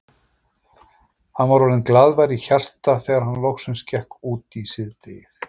Hann var orðinn glaðvær í hjarta þegar hann loksins gekk út í síðdegið.